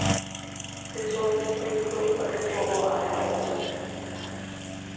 Det tror vi selvfølgelig på, og det tror vore ejere også.